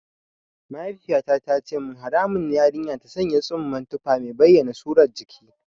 Mahaifiyata ta ce min haramun ne yarinya ta sanya tsumman tufa mai bayyana surar jiki.